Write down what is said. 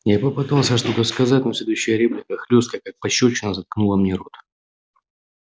я попытался что-то сказать но следующая реплика хлёсткая как пощёчина заткнула мне рот